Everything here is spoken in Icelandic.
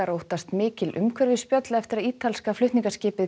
óttast mikil umhverfisspjöll eftir að ítalska flutningaskipið